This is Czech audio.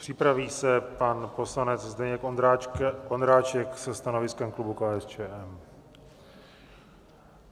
Připraví se pan poslanec Zdeněk Ondráček se stanoviskem klubu KSČM.